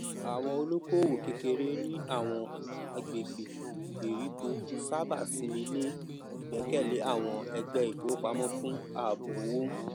àwọn olókoòwò kékeré ní àwọn àgbègbè ìgbèríko sábà simi lé igbẹkẹlé àwọn ẹgbẹ ìfowopamọ fún ààbò owó